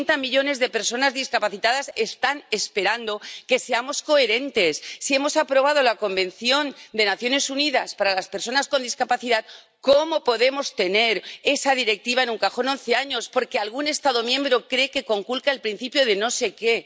ochenta millones de personas discapacitadas están esperando que seamos coherentes. Si hemos aprobado la Convención de Naciones Unidas sobre los Derechos de las Personas con Discapacidad, ¿cómo podemos tener esa Directiva en un cajón once años, porque algún Estado miembro cree que conculca el principio de no sé qué?